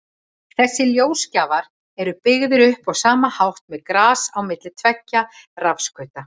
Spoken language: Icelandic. Þessir ljósgjafar eru byggðir upp á sama hátt, með gas á milli tveggja rafskauta.